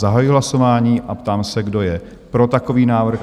Zahajuji hlasování a ptám se, kdo je pro takový návrh?